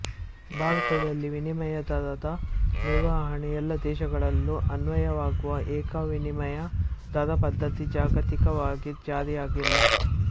ಭಾರತದಲ್ಲಿ ವಿನಿಮಯ ದರದ ನಿರ್ವಹಣೆ ಎಲ್ಲಾ ದೇಶಗಳಲ್ಲೂ ಅನ್ವಯವಾಗುವ ಏಕ ವಿನಿಮಯ ದರ ಪದ್ದತಿ ಜಾಗತಿಕವಾಗಿ ಜಾರಿಯಾಗಿಲ್ಲ